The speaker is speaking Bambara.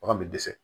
Bagan bɛ dɛsɛ